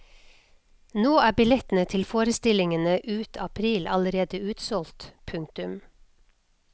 Nå er billettene til forestillingene ut april allerede utsolgt. punktum